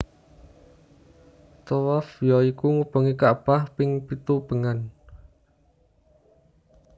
Thawaf ya iku ngubengi kakbah ping pitung ubengan